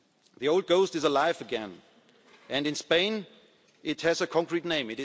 The old ghost is alive again, and in Spain it has a concrete